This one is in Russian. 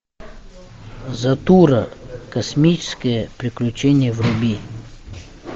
затура космическое приключение вруби